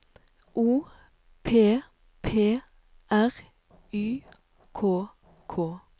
O P P R Y K K